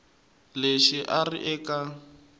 lexi a a ri eka